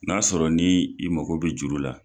N'a sɔrɔ ni i mago bɛ juru la.